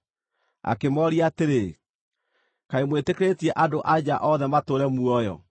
Akĩmooria atĩrĩ, “Kaĩ mwĩtĩkĩrĩtie andũ a nja othe matũũre muoyo?